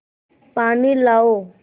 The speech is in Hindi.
पानी लाओ